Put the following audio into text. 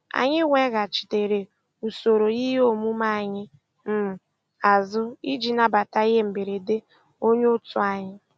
Anyị weghachitere usoro ihe omume anyị um azụ iji nabata ihe mberede onye otu anyị.